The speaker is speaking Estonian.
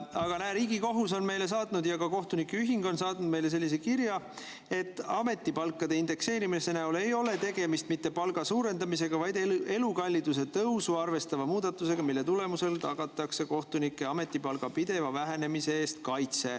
Aga näe, Riigikohus on meile saatnud ja ka kohtunike ühing on saatnud meile sellise kirja, et ametipalkade indekseerimise näol ei ole tegemist mitte palga suurendamisega, vaid elukalliduse tõusu arvestava muudatusega, mille tulemusel tagatakse kaitse kohtunike ametipalga pideva vähenemise eest.